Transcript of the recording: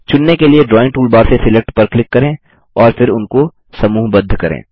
चुनने के लिए ड्राइंग टूलबार से सिलेक्ट पर क्लिक करें और फिर उनको समूहबद्ध करें